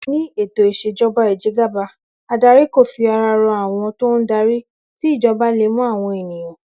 Ní ètò ìs̩èjo̩ba ìje̩gàba, adarí kò fi ara ro̩ àwo̩n tó ń darí, tí ìjo̩ba le mo̩ àwo̩n ènìyàn